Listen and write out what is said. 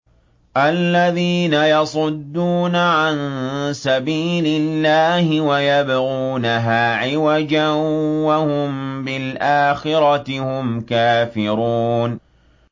الَّذِينَ يَصُدُّونَ عَن سَبِيلِ اللَّهِ وَيَبْغُونَهَا عِوَجًا وَهُم بِالْآخِرَةِ هُمْ كَافِرُونَ